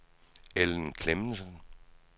Ellen Clemmensen